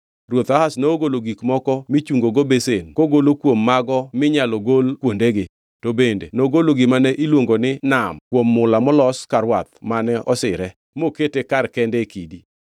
Ruoth Ahaz nogolo gik moko michungogo besen kogolo kuom mago minyalo gol kuondegi. Bende nogolo gima ne iluongo ni Nam kuom mula molos ka rwath mane osire, mokete kar kende e kidi.